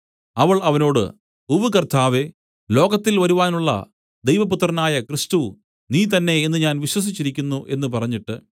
അവൾ അവനോട് ഉവ്വ് കർത്താവേ ലോകത്തിൽ വരുവാനുള്ള ദൈവപുത്രനായ ക്രിസ്തു നീ തന്നേ എന്നു ഞാൻ വിശ്വസിച്ചിരിക്കുന്നു എന്നു പറഞ്ഞിട്ട്